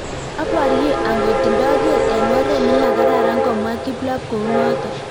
"Abarie angot ndoker eng oret nimekararan "komwa kiplop kounotok